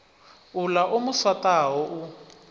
uḽa o mu swaṱaho u